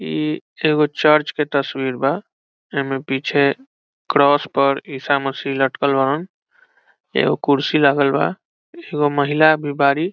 इ एगो चर्च एगो तस्वीर बा ए में पीछे पर क्रॉस इसा मसि लटकल बावं एगो कुर्सी लागल बा एगो महिला भी बाड़ी।